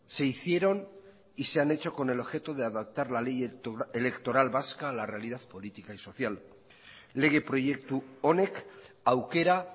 se hicieron y se han hecho con el objeto de adaptar la ley electoral vasca a la realidad política y social lege proiektu honek aukera